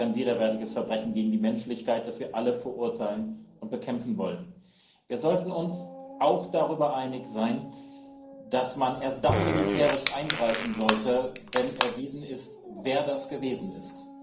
Das ist ein widerwärtiges Verbrechen gegen die Menschlichkeit, das wir alle verurteilen und bekämpfen wollen. Wir sollten uns auch darüber einig sein, dass man erst dann militärisch eingreifen sollte, wenn erwiesen ist, wer das gewesen ist.